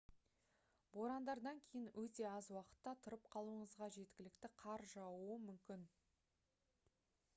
борандардан кейін өте аз уақытта тұрып қалуыңызға жеткілікті қар жаууы мүмкін